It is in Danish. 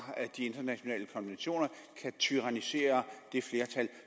de internationale konventioner kan tyrannisere det flertal